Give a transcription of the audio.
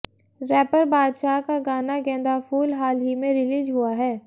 wrapper Badshah का गाना गेंदा फूल हाल ही में रिलीज हुआ है